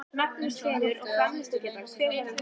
Magnús Hlynur: Og framleiðslugetan hver verður hún?